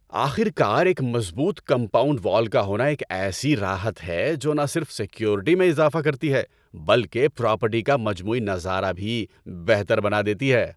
آخر کار ایک مضبوط کمپاؤنڈ وال کا ہونا ایک ایسی راحت ہے جو نہ صرف سیکیورٹی میں اضافہ کرتی ہے بلکہ پراپرٹی کا مجموعی نظارہ بھی بہتر بنا دیتی ہے۔